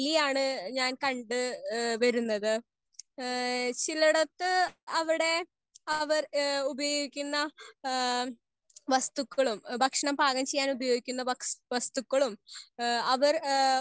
Speaker 1 ആണ് ഞാൻ കണ്ട് വരുന്നത്. ഹേ ചിലടത് അവിടെ അവർ ഹേ ഉപയോഗിക്കുന്ന ഹേ വസ്തുക്കളും ഭക്ഷണം പാകം ചെയ്യാൻ ഉപയോകിക്കുന്ന വസ്തുക്കളും ഹേ അവർ പാകം ചെയ്യുന്ന വിധങ്ങളും.